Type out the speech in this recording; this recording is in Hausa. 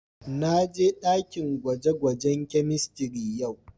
Na je dakin gwaje-gwajen chemistry yau.